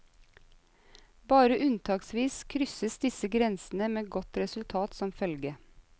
Bare unntaksvis krysses disse grensene med godt resultat som følge.